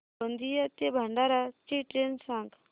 गोंदिया ते भंडारा ची ट्रेन सांग